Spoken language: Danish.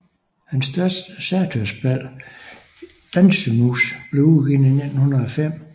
Hans største satyrspil Dansemus blev udgivet i 1905